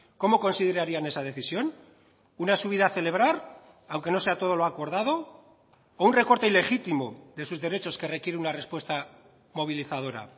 cómo considerarían esa decisión una subida a celebrar aunque no sea todo lo acordado o un recorte ilegítimo de sus derechos que requiere una respuesta movilizadora